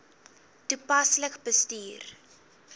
toepaslik bestuur